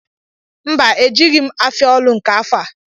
Mba, ejeghi m afia olu nke afọ a